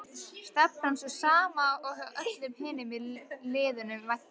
Stefnan sú sama og hjá öllum hinum liðunum væntanlega?